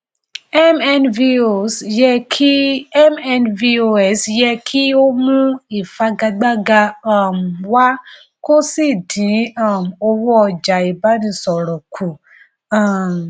mnvos yẹ kí mnvos yẹ kí ó mú ìfagagbága um wá kó sì dín um owó ọjà ìbánisọrọ kù um